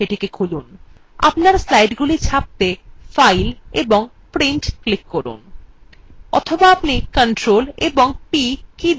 আপনার slidesগুলি ছাপতে file এবং printwe click করুন অথবা আপনি ctrl এবং p কীদুটি একসাথে টিপতে পারেন